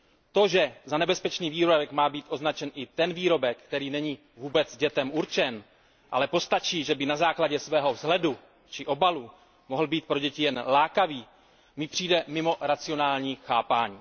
To, že za nebezpečný výrobek má být označen i ten výrobek, který není vůbec dětem určen, ale postačí, že by na základě svého vzhledu či obalu mohl být pro děti jen lákavý, mi přijde mimo racionální chápání.